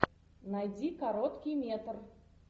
найди короткий метр